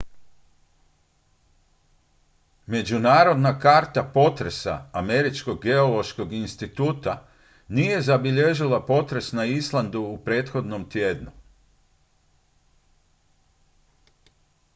međunarodna karta potresa američkog geološkog instituta nije zabilježila potres na islandu u prethodnom tjednu